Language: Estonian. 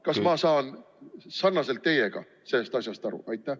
Kas ma saan teiega sarnaselt sellest asjast aru?